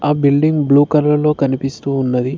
ఆ building blue కలర్లో కనిపిస్తూ ఉన్నది.